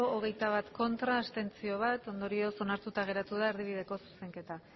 hogeita bat ez bat abstentzio ondorioz onartuta geratu da erdibideko zuzenketa